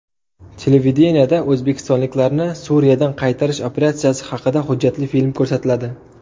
Televideniyeda o‘zbekistonliklarni Suriyadan qaytarish operatsiyasi haqida hujjatli film ko‘rsatiladi.